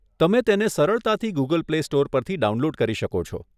તમે તેણે સરળતાથી ગૂગલ પ્લે સ્ટોર પરથી ડાઉનલોડ કરી શકો છો.